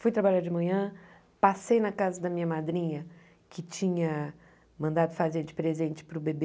Fui trabalhar de manhã, passei na casa da minha madrinha, que tinha mandado fazer de presente para o bebê,